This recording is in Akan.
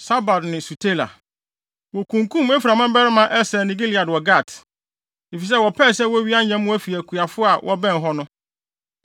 Sabad ne Sutela. Wokunkum Efraim mmabarima Eser ne Elad wɔ Gat, efisɛ wɔpɛe sɛ wowia nyɛmmoa fi akuafo a wɔbɛn hɔ no.